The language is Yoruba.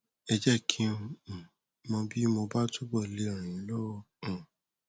ẹ jẹ kí n um mọ bí mo bá túbọ le ràn yín lọwọ um